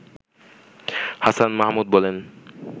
হাসান মাহমুদ বলেন